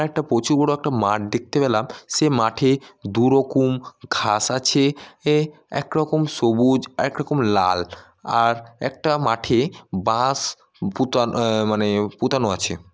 একটা প্রচুর বড় একটা মাঠ দেখতে পেলাম সেই মাঠে দুরকম ঘাস আছে আহ একরকম সবুজ একরকম লাল আর একটা মাঠে বাঁশ বুতা আহ মানে পুতানো আছে।